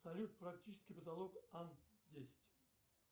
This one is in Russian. салют практический потолок ан десять